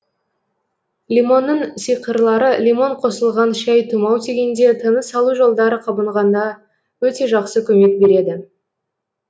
лимонның сиқырлары лимон қосылған шәй тұмау тигенде тыныс алу жолдары қабынғанда өте жақсы көмек береді